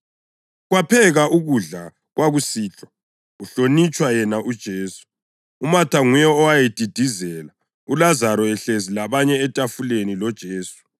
Kwaphekwa ukudla kwakusihlwa kuhlonitshwa yena uJesu. UMatha nguye owayedidizela, uLazaro ehlezi labanye etafuleni loJesu.